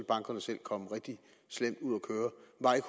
bankerne selv komme rigtig slemt